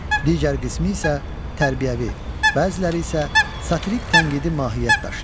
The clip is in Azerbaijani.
Digər qismi isə tərbiyəvi, bəziləri isə satirik-tənqidi mahiyyət daşıyır.